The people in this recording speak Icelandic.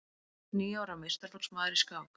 Níu ára meistaraflokksmaður í skák